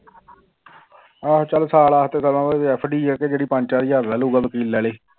ਆਹੋ ਚੱਲ ਸਾਲ ਵਾਸਤੇ ਤਾਂ ਸਮਝ FD ਆ ਕਿ ਜਿਹੜੀ ਪੰਜ ਚਾਰ ਹਜ਼ਾਰ ਲੈ ਲਊਗਾ ਵਕੀਲ ਲੈ ਲਏ